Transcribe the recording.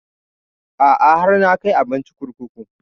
A'a har na kai abincin kurkuku